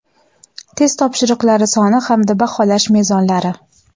test topshiriqlari soni hamda baholash mezonlari.